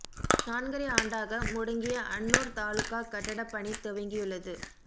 நான்கரை ஆண்டாக முடங்கிய அன்னுார் தாலுகா கட்டட பணி துவங்கியுள்ளது